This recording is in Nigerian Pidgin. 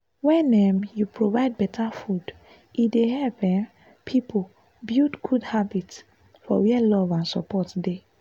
wen um you provide better food e dey help um people build good habits for where love and support dey.